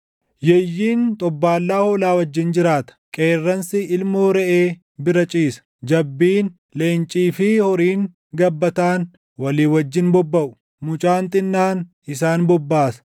Yeeyyiin xobbaallaa hoolaa wajjin jiraata; qeerransi ilmoo reʼee bira ciisa; jabbiin, leencii fi horiin gabbataan walii wajjin bobbaʼu; mucaan xinnaan isaan bobbaasa.